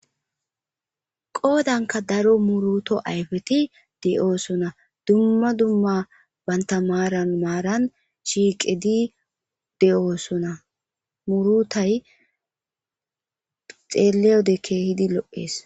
Qoodanka daro muruto ayfeti de'oosona. Dumma dumma banta maaran maaran shiiqedi de'oosona. Muurutay xeeleyode keehidi lo'es.